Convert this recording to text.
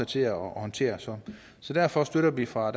til at håndtere så så derfor støtter vi fra